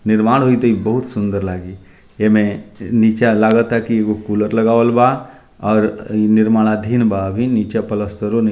निर्माण होइ ते इ बहुत सुन्दर लागे एमें नीचा लागा ता की एगो कूलर लगावल बा और निर्माधीन बा अभी नीचे प्लास्तरों नइखे --